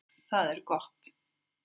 Það er gott